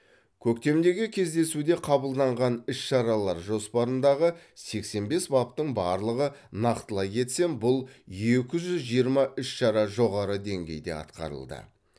көктемдегі кездесуде қабылданған іс шаралар жоспарындағы сексен бес баптың барлығы нақтылай кетсем бұл екі жүз жиырма іс шара жоғары деңгейде атқарылды